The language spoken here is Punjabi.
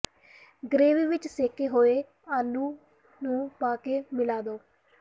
ਗਰੇਵੀ ਵਿਚ ਸਿਕੇ ਹੋਏ ਆਲੂ ਨੂੰ ਪਾ ਕੇ ਮਿਲਾ ਦਿਓ